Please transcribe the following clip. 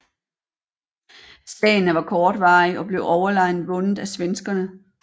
Slagene var kortvarige og blev overlegent vundet af svenskerne